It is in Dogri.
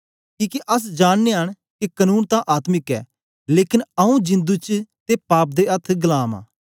किके अस जाननयां न के कनून तां आत्मिक ऐ लेकन आंऊँ जिंदु च ते पाप दे अथ्थ गलाम आं